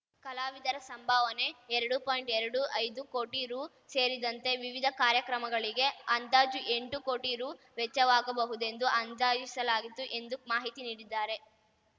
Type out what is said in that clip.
ಕಲಾವಿದರ ಸಂಭಾವನೆ ಎರಡು ಪಾಯಿಂಟ್ಎರಡು ಐದು ಕೋಟಿ ರು ಸೇರಿದಂತೆ ವಿವಿಧ ಕಾರ್ಯಕ್ರಮಗಳಿಗೆ ಅಂದಾಜು ಎಂಟು ಕೋಟಿ ರು ವೆಚ್ಚವಾಗಬಹುದೆಂದು ಅಂದಾಜಿಸಲಾಗಿತು ಎಂದು ಮಾಹಿತಿ ನೀಡಿದ್ದಾರೆ